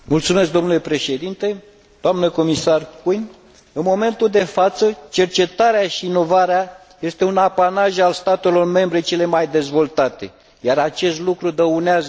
În momentul de față, cercetarea și inovarea sunt un apanaj al statelor membre cele mai dezvoltate, iar acest lucru dăunează Uniunii.